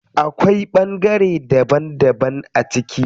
Akwai ɓangare daban daban a ciki.